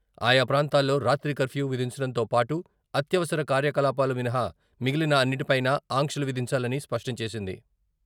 ఆయాప్రాంతాల్లో రాత్రి కర్ఫ్యూ విధించడంతో పాటు, అత్యవసర కార్యకలాపాలు మినహా మిగిలిన అన్నింటిపైనా ఆంక్షలు విధించాలని స్పష్టం చేసింది.